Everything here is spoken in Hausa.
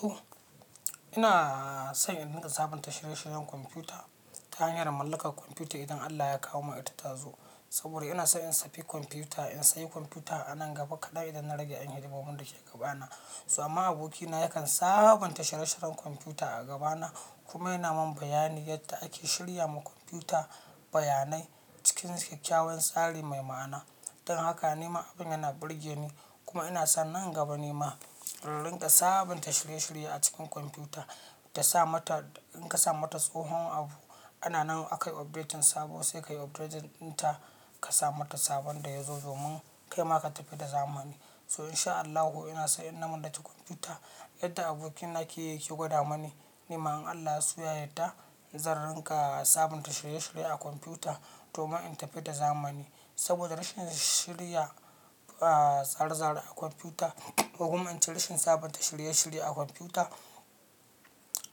To ina son in rinka sabunta shirye-shiryen kwamfuta ta hanyar mallakar kwamfuta idan Allah ya kawo mata ta zo. Saboda ina so in safi kwamfuta in sayi kwamfuta anan gaba kaɗan idan na rage ƴan hidimomin dake ke gabana. Amma abokina yakan sabunta shirye-shiryen kwamfuta a gabana kuma yana min bayani yadda ake shirya ma kwamfuta bayanai cikin kyakkyawan tsari mai ma'ana. Don haka nima abin yana burge ni kuma ina son nan gaba nima na rinka sabunta shirye-shirye a cikin kwamfuta ta sa mata in ka sa mata tsohon abu ana nan aka yi update sabo sai ka yi update din ta ka sa mata sabon da ya zo domin kaima ka tafi da zamani. To in sha Allahu ina so inna mallaki kwamfuta yadda abokina ke yi ke gwada mani nima in Allah ya suya yadda zan rinka sabunta shirye-shirye a kwamfuta domin in tafi da zamani. Saboda rashin shirya, ah tsare tsare a kwamfuta, ko kuma in ce rashin sabunta shirye-shirye a kwamfuta